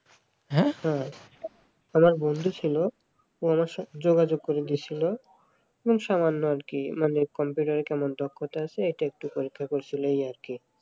আমার এক বন্ধু ছিল আমার সঙ্গে যোগাযোগ করে দিয়েছিল খুব সামান্য আর কি মানে কম্পিউটারে কেমন দক্ষতা আছে এইটা একটু পরীক্ষা করছিলো এই আর কি